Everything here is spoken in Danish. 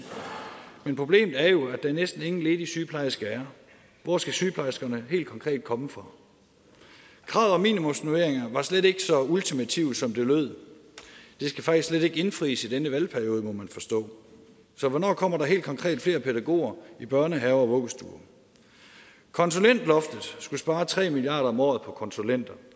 men problemet er jo at der næsten ingen ledige sygeplejersker er hvor skal sygeplejerskerne helt konkret komme fra kravet om minimumsnormeringer var slet ikke så ultimativt som det lød det skal faktisk slet ikke indfries i denne valgperiode må man forstå så hvornår kommer der helt konkret flere pædagoger i børnehaver og vuggestuer konsulentloftet skulle spare tre milliard kroner om året på konsulenter